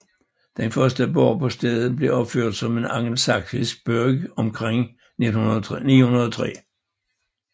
Den første borg på stedet blev opført som en angelsaksisk burgh omkring 913